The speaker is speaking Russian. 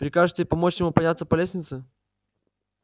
прикажете помочь ему подняться по лестнице